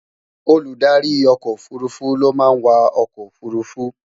Olùdarí ọkọ òfurufú ló máa ń wà ọkọ òfurufú